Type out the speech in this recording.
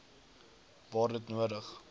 waar dit nodig